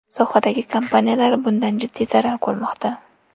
Sohadagi kompaniyalar bundan jiddiy zarar ko‘rmoqda.